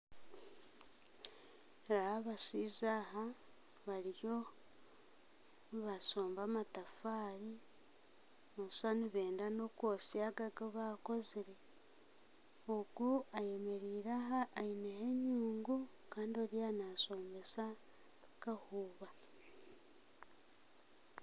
Abashaija aba bariyo nibasomba amatafaari nooshusha nibenda nokwotsa aga agu bakozire ogu ayemereire aho aineho enyungu Kandi Oriya nashombesa kahuuba